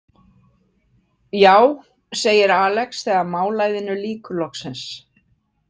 Já, segir Alex þegar málæðinu lýkur loksins.